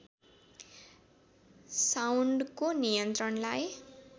साउन्डको नियन्त्रणलाई